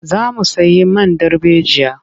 Za mu sayi man darbejiya.